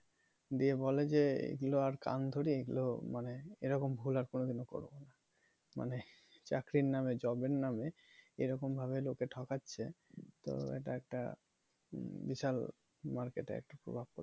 দিয়ে বলে যে এগুলো আর কান ধরি এগুলো মানে এরকম ভুল আর কোনো দিনও করবো না মানে চাকরির নামে job এর নামে এরকম ভাবে লোক কে ঠকাচ্ছে তো এটা একটা বিশাল market এ একটা প্রভাব পরেছে